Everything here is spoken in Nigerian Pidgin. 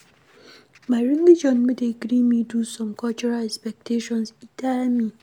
My religion no dey gree me do some cultural expectations, e tire me.